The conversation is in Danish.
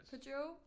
På Joe